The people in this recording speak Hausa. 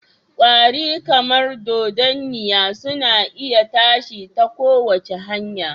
kwari, kamar dodanniya, suna iya tashi ta kowace hanya